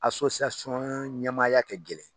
ɲamamaaya kɛ gɛlɛn.